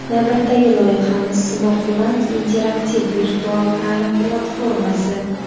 Navbatdagi loyihamiz – "Smart Land" interaktiv virtual ta’lim platformasi!.